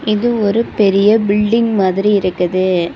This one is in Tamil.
இது ஒரு பெரிய பில்டிங் மாதிரி இருக்குது.